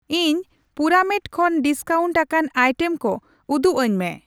ᱤᱧ ᱯᱩᱨᱟᱢᱮᱴ ᱠᱷᱚᱱ ᱰᱤᱥᱠᱟᱣᱩᱱᱴ ᱟᱠᱟᱱ ᱟᱭᱴᱮᱢ ᱠᱚ ᱩᱫᱩᱜᱟᱹᱧ ᱢᱮ ᱾